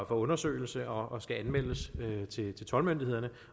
undersøgelse og skal anmeldes til toldmyndighederne